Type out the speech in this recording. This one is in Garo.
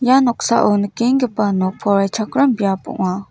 ia noksao nikenggipa nok poraichakram biap ong·a.